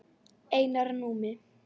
Einar Númi.